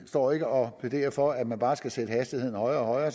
står ikke og plæderer for at man bare skal sætte hastigheden højere og højere